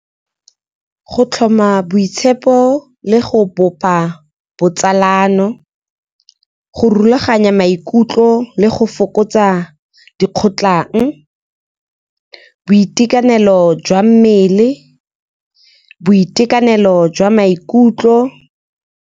Go tlhoma boitshepo le go bopa botsalano, go rulaganya maikutlo le go fokotsa dikgotlang, boitekanelo jwa mmele, boitekanelo jwa maikutlo.